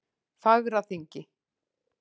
Fagraþingi